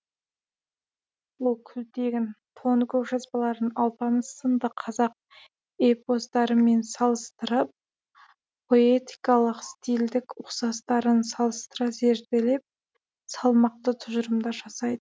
ол күлтегін тоныкөк жазбаларын алпамыс сынды қазақ эпостарымен салыстырып поэтикалық стильдік ұқсастарын салыстыра зерделеп салмақты тұжырымдар жасай